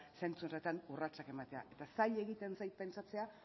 zentsu horretan urratsak ematea eta zaila egiten zait pentsatzea